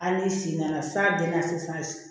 Ali n'i sen nana f'a bɛɛ ka se fosi